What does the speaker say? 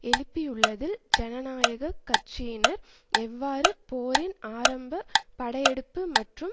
எழுப்பியுள்ளதில் ஜனநாயக கட்சியினர் எவ்வாறு போரின் ஆரம்ப படையெடுப்பு மற்றும்